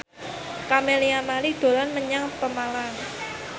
Camelia Malik dolan menyang Pemalang